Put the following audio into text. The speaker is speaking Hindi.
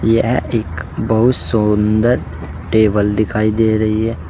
यह एक बहुत सुंदर टेबल दिखाई दे रही है।